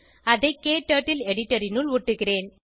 அதை க்டர்ட்டில் எடிட்டர் னுள் ஒட்டுகிறேன்